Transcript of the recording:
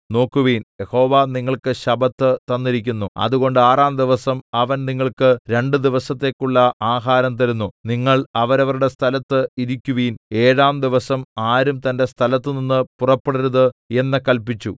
നോക്കുവിൻ യഹോവ നിങ്ങൾക്ക് ശബ്ബത്ത് തന്നിരിക്കുന്നു അതുകൊണ്ട് ആറാം ദിവസം അവൻ നിങ്ങൾക്ക് രണ്ട് ദിവസത്തേക്കുള്ള ആഹാരം തരുന്നു നിങ്ങൾ അവരവരുടെ സ്ഥലത്ത് ഇരിക്കുവിൻ ഏഴാം ദിവസം ആരും തന്റെ സ്ഥലത്തുനിന്ന് പുറപ്പെടരുത് എന്ന് കല്പിച്ചു